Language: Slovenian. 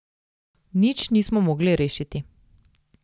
Nič nismo mogli rešiti.